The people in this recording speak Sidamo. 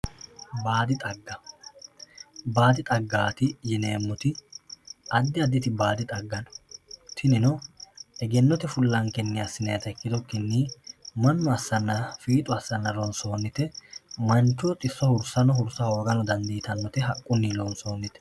baadi xagga baadi xagga yuineemmoti addi addi baadi xagga no tinino egennote fullankenni assinannita ikkitukkinni mannu assanna fiixu assanna ronsoonnite manchoho xisso hursano hursa hoogano dandiitannote haqqunni loonsoonnite.